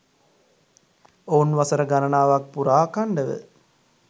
ඔවුන් වසර ගණනාවක් පුරා අඛන්ඩව